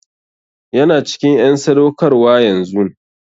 Yana cikin en sadaukarwa yanzun.